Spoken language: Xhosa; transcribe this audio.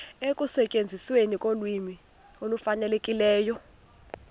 ekusetyenzisweni kolwimi olufanelekileyo